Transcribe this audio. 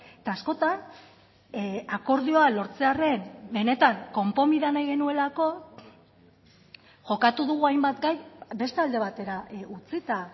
eta askotan akordioa lortzearren benetan konponbidea nahi genuelako jokatu dugu hainbat gai beste alde batera utzita